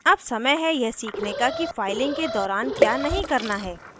अब समय है यह सीखने का कि फाइलिंग के दौरान क्या नहीं करना है